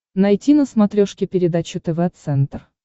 найти на смотрешке передачу тв центр